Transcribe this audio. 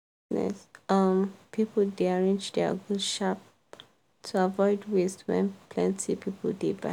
um people dey arrange their goods sharp to avoid waste when plenty people dey buy.